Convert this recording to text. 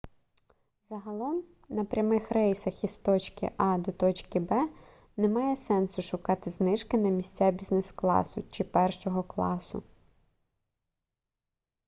загалом на прямих рейсах із точки а до точки б немає сенсу шукати знижки на місця бізнес-класу чи першого класу